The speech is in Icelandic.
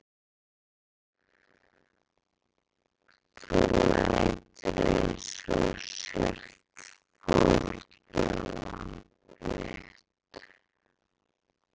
Þú lætur einsog þú sért fórnarlamb mitt.